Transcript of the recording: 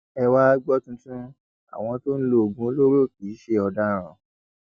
ẹ wàá gbọ tuntun àwọn tó ń lo oògùn olóró kì í ṣe ọdaràn